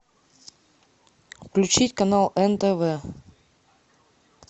включить канал нтв